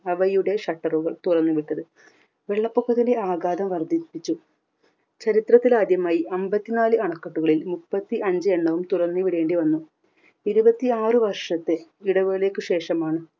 അവയുടെ shutter കൾ തുറന്ന് വിട്ടത് വെള്ളപൊക്കത്തിന്റെ ആഘാതം വർധിപ്പിച്ചു. ചരിത്രത്തിലാദ്യമായി അന്പതിനാല് അണക്കെട്ടുകളിൽ മുപ്പത്തി അഞ്ച് എണ്ണവും തുറന്ന് വിടേണ്ടി വന്നു. ഇരുപത്തി ആറ് വർഷത്തെ ഇടവേളയ്ക്കു ശേഷമാണ്